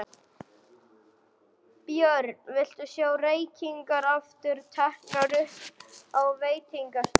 Björn: Viltu sjá reykingar aftur teknar upp á veitingastöðum?